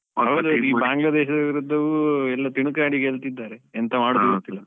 ಹೌದು, ಈ Bangladesh ದ ವಿರುದ್ದವೂ ಎಲ್ಲ ತಿಣುಕಾಡಿ ಗೆಲ್ತಾ ಇದ್ದಾರೆ ಎಂತ ಮಾಡುದು ಗೊತ್ತಿಲ್ಲ.